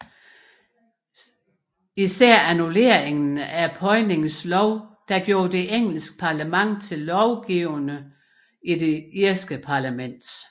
Specielt annulleringen af Poynings lov der gjorde det engelske parlament til lovgivende i det irske parlament